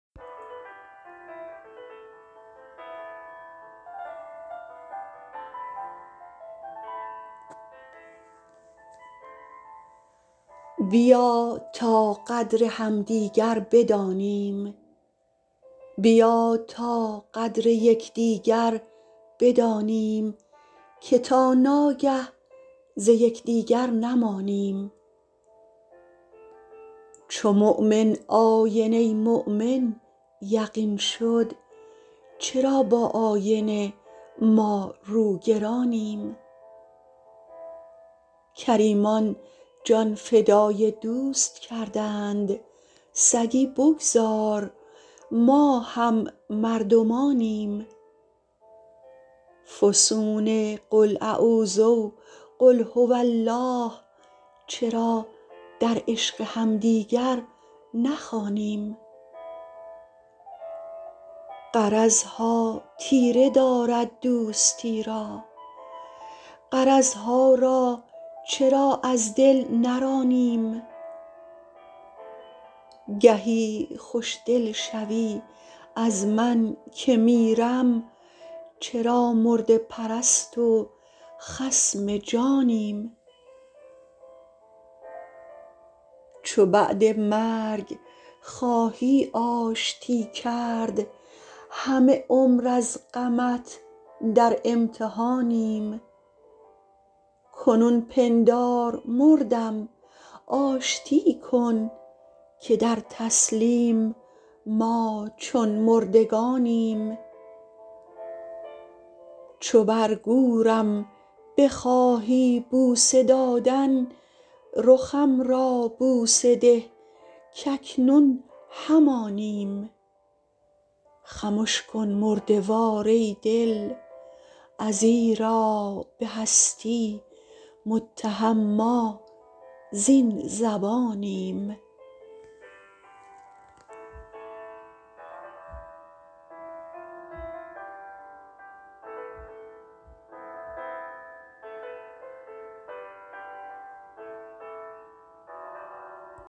بیا تا قدر یکدیگر بدانیم که تا ناگه ز یکدیگر نمانیم چو مؤمن آینه ی مؤمن یقین شد چرا با آینه ما روگرانیم کریمان جان فدای دوست کردند سگی بگذار ما هم مردمانیم فسون قل اعوذ و قل هو الله چرا در عشق همدیگر نخوانیم غرض ها تیره دارد دوستی را غرض ها را چرا از دل نرانیم گهی خوشدل شوی از من که میرم چرا مرده پرست و خصم جانیم چو بعد مرگ خواهی آشتی کرد همه عمر از غمت در امتحانیم کنون پندار مردم آشتی کن که در تسلیم ما چون مردگانیم چو بر گورم بخواهی بوسه دادن رخم را بوسه ده کاکنون همانیم خمش کن مرده وار ای دل ازیرا به هستی متهم ما زین زبانیم